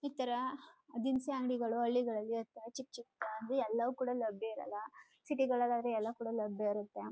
ಇತರ ದಿನಸಿ ಅಂಗಡಿಗಳು ಹಳ್ಳಿಗಳಲ್ಲಿ ಚಿಕ್ಕಾಚಿಕ್ಕದಾಗಿ ಎಲ್ಲವೂ ಕೂಡ ಇರಲ ಸಿಟಿ ಗಳಲ್ಲಿ ಆದ್ರೆ ಎಲ್ಲ ಕಡೆ ಇರುತ್ತೆ.